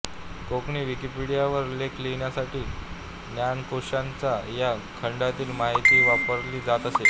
कोंकणी विकिपीडियावर लेख लिहिण्यासाठी ज्ञानकोशांच्या या खंडातील माहिती वापरली जात असे